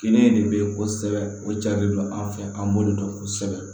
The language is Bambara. Kɛnɛ de bɛ kosɛbɛ o cari don an fɛ an b'olu dɔn kosɛbɛ